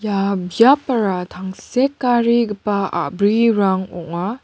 ia biapara tangsekarigipa a·brirang ong·a.